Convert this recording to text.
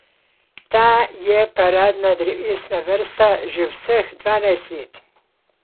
Ta je paradna drevesna vrsta že vseh dvanajst let.